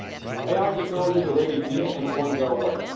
AI technology is already here, and it won't go away.